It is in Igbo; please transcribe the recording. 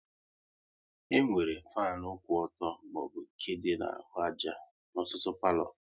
E nwere fanu kwụ ọtọ maọbụ nke dị na-ahụ àjà n'ọtụtụ palo